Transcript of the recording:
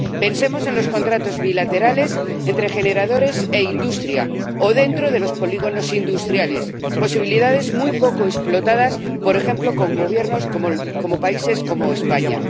Pensemos en los contratos bilaterales entre generadores e industria o dentro de los polígonos industriales, posibilidades muy poco explotadas, por ejemplo, con gobiernos de países como España.